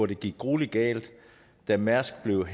det gik gruelig galt da mærsk blev